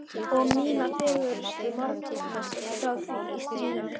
Og mína fegurstu morgna frá því í stríðinu.